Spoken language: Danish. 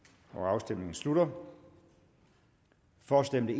afstemningen slutter for stemte